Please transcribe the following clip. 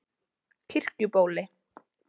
Kirkjubóli